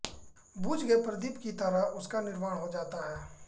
बुझ गए प्रदीप की तरह उसका निर्वाण हो जाता है